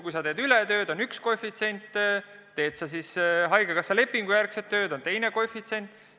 Kui sa teed ületunnitööd, on üks koefitsient, kui teed haigekassa lepingu järgi tööd, on teine koefitsient.